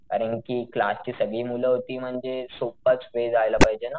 कारण कि क्लास ची सगळी मुलं होती म्हणजे सोप्पाच वे जायला पाहिजे ना.